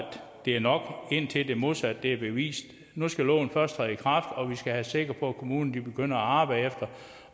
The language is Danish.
det er nok indtil det modsatte er bevist nu skal loven først træde i kraft og vi skal være sikre på at kommunerne begynder at arbejde efter